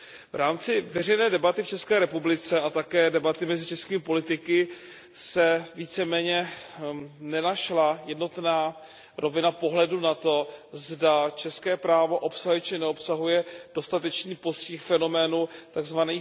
V rámci veřejné debaty v České republice a také debaty mezi českými politiky se víceméně nenašla jednotná rovina pohledu na to, zda české právo obsahuje či neobsahuje dostatečný postih fenoménu tzv.